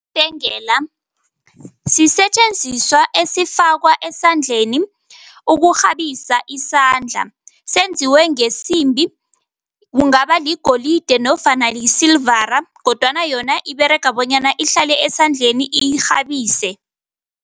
Ibhengela sisetjenziswa esifakwa esandleni ukurhabisa isandla. Senziwe ngesimbi, kungaba ligolide nofana isilivara kodwana yona iberega bonyana ihlale esandleni, irhabise.